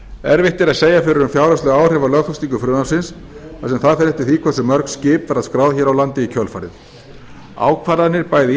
erfitt er að segja fyrir um fjárhagsleg áhrif af lögfestingu frumvarpsins þar sem það fer eftir því hversu mörg skip verða skráð hér á landi í kjölfarið ákvarðanir bæði